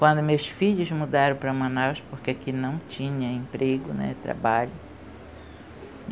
Quando meus filhos mudaram para Manaus, porque aqui não tinha emprego, nem trabalho.